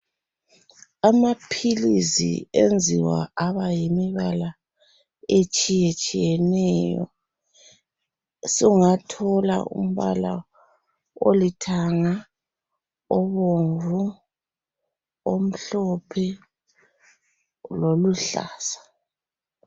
Amaphilisi enziwa abayimibala etshiyetshiyeneyo. Sungathola umbala olithanga , obomvu, omhlophe loluhlaza.